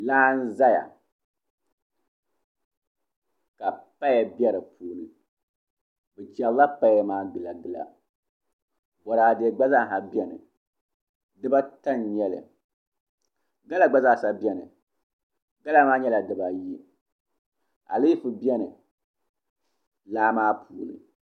laa n-zaya ka paya be di puuni bɛ chɛrila paya maa gilagila bɔraade gb------a beni diba ata n-nyɛ li gala zaa gba zaa beni gala maa nyɛla diba ayi aleefo be-- laa maa puuni